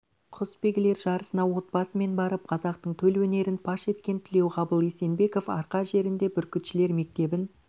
құсбегілер жарысына отбасымен барып қазақтың төл өнерін паш еткен тілеуғабыл есенбеков арқа жерінде бүркітшілер мектебін